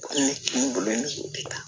Ne bolo ne bɛ taa